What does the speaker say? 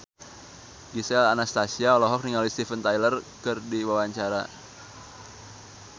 Gisel Anastasia olohok ningali Steven Tyler keur diwawancara